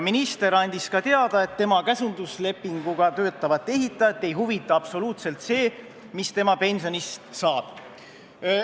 Minister andis teada, et seda käsunduslepinguga töötavat ehitajat ei huvita absoluutselt see, mis tema pensionist saab.